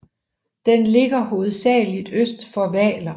Den ligger hovedsagelig øst for Hvaler